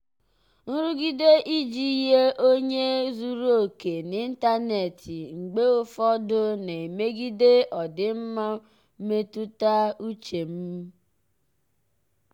nrụgide iji yie onye zuru oke n'ịntanetị mgbe ụfọdụ na-emegide ọdịmma mmetụta uche m.